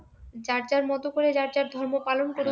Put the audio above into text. যার যার মতো করে তার তার ধর্ম পালন করুক